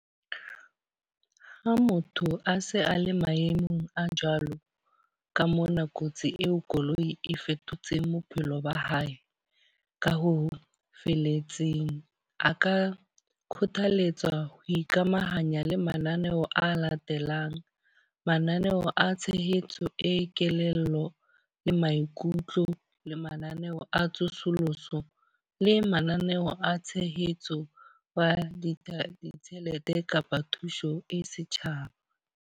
Ha motho a se a le maemong a jwalo ka mona kotsi eo koloi e fetotseng bophelo ba hae ka ho felletseng. A ka kgothaletswa ho ikamahanya le mananeo a latelang. Mananeo a tshehetso e kelello le maikutlo. Le mananeo a tsosoloso le mananeo a tshehetso ya ditjhelete kapa thuso e setjhaba.